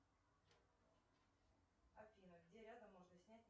афина где рядом можно снять